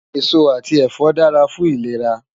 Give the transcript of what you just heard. Esó ati ẹfọ dàrá fún ilérá